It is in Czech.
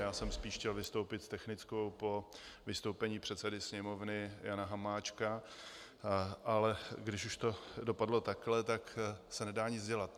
Já jsem spíš chtěl vystoupit s technickou po vystoupení předsedy Sněmovny Jana Hamáčka, ale když už to dopadlo takhle, tak se nedá nic dělat.